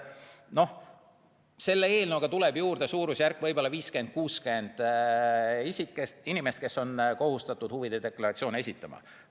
Noh, selle eelnõuga tuleb juurde suurusjärgus võib-olla 50–60 inimest, kes on kohustatud huvide deklaratsioone esitama.